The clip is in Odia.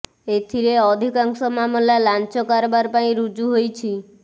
ଏଥିରେ ଅଧିକାଂଶ ମାମଲା ଲାଞ୍ଚ କାରବାର ପାଇଁ ରୁଜୁ ହୋଇଛି